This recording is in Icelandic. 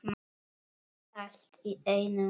Allt í einum graut.